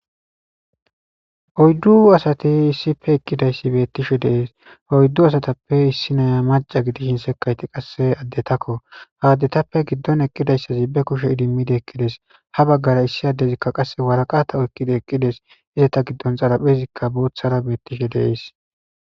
oyddu asati issipe eqqidayssi beettishe deees hoyddu asatappe issinaya maca gidi hinsekayti qasse addetakko haaddetappe giddon eqqidayssazi be kushe idimmidi ekkides ha baggara issi addezikka qasse waraqata oykkidi eqqides izata giddon xaraphezikka boothara beettishe deees